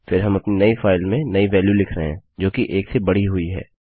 फिर हम अपनी नई फाइल में नई वेल्यू लिख रहे हैं जोकि 1 से बढ़ी हुई है